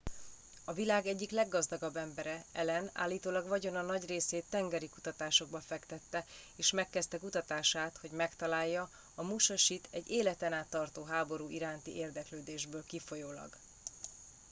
a világ egyik leggazdagabb embere allen állítólag vagyona nagy részét tengeri kutatásokba fektette és megkezdte kutatását hogy megtalálja a musashit egy életen át tartó háború iránti érdeklődésből kifolyólag